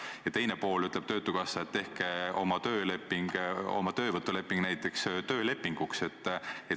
Ja teisele poolele ütleb töötukassa, et tehku nad oma töövõtulepingud näiteks töölepinguks.